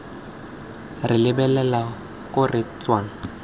re lebelela ko re tswang